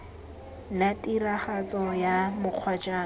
la tiragatso ya mokgwa jaaka